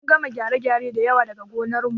Mun kama gyare da yawa daga gonar mu